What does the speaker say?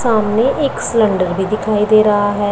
सामने एक सिलेंडर भी दिखाई दे रहा है।